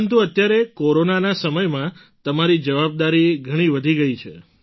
પરંતુ અત્યારે કોરોનાના સમયમાં તમારી જવાબદારી ઘણી વધી ગઈ છે